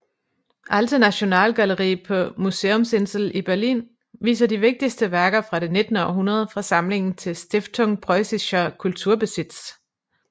Alte Nationalgalerie på Museumsinsel i Berlin viser de vigtigste værker fra det nittende århundrede fra samlingen til Stiftung Preussischer Kulturbesitz